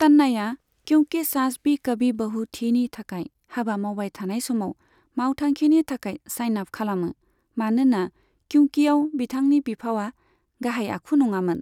तन्नाआ "क्युकि सास भी कभी बहु थी"नि थाखाय हाबा मावबाय थानाय समाव मावथांखिनि थाखाय साइन आप खालामो, मानोना क्युकियाव बिथांनि बिफावा गाहाय आखु नङामोन।